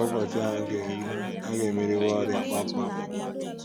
Mgbe ụbọchị ahụ ga - eru, a ga - emeriwo ọrịa kpam kpam.